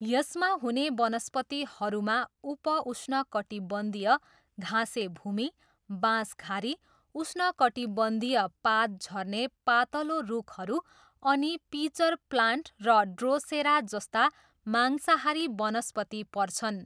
यसमा हुने वनस्पतिहरूमा उप उष्णकटिबन्धीय घाँसे भूमि, बाँसघारी, उष्णकटिबन्धीय पात झर्ने पातलो रुखहरू अनि पिचर प्लान्ट र ड्रोसेरा जस्ता मांसाहारी वनस्पति पर्छन्।